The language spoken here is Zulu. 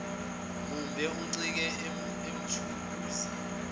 mumbe oncike emathuluzini